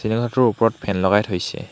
শ্ৰেণীকোঠাটোৰ ওপৰত ফেন লগাই থৈছে।